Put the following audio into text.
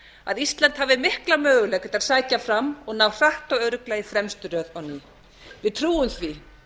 að ísland hafi mikla möguleika til að sækja fram og ná hratt og örugglega í fremstu röð við trúum því